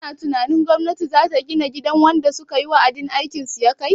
Kana tunanin gwamnati zata gina gidan wanda sukayi wa'adin aikin su yakai?